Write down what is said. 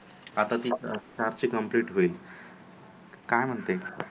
आता ति सात ची Complete होईल, काय म्हणते